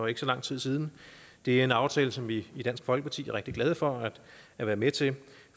ikke så lang tid siden det er en aftale som vi i dansk folkeparti er rigtig glade for at være med til